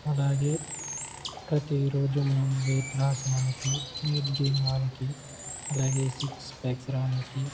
అలాగే ప్రతిరోజు మనం వెయిట్లాస్ గానేకి వెయిట్గైన్ గానేకి సిక్స్ ప్యాక్స్ రానికి --